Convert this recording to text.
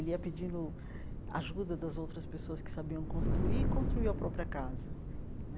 Ele ia pedindo ajuda das outras pessoas que sabiam construir e construiu a própria casa né.